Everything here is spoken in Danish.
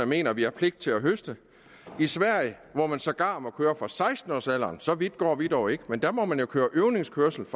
mener vi har pligt til at høste i sverige hvor man sågar må køre fra seksten års alderen så vidt går vi dog ikke må man køre øvelseskørsel